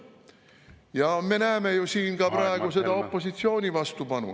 Ja me näeme ju siin ka praegu seda opositsiooni vastupanu.